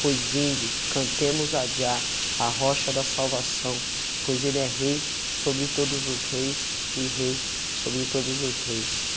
Pois vinde, cantemos adiá a rocha da salvação, pois ele é rei sobre todos os reis e rei sobre todos os reis,